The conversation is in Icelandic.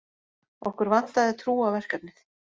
Okkur vantaði trú á verkefnið